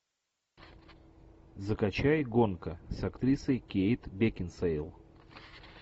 закачай гонка с актрисой кейт бекинсейл